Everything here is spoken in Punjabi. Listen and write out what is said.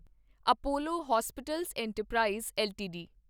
Apollo hospitals enterprise LTD